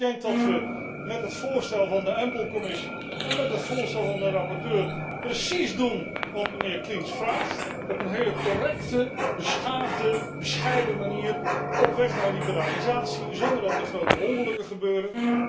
Ik denk dat we met het voorstel van de Commissie EMPL en met het voorstel van de rapporteur precies doen wat de heer Klinz vraagt op een heel correcte, beschaafde, bescheiden manier op weg naar liberalisatie zonder dat er grote ongelukken gebeuren.